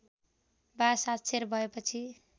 वा साक्षर भएपछि